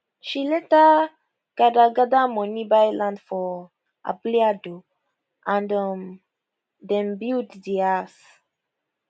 she later gather gather money buy land for abule ado and um den build di house